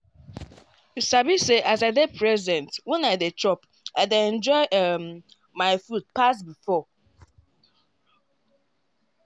you sabi say as i dey present when i dey chop i dey enjoy um my food pass before.